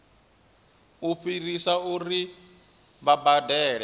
u fhirisa uri vha badele